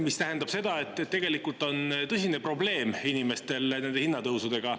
See tähendab seda, et inimestel on tõsine probleem nende hinnatõusudega.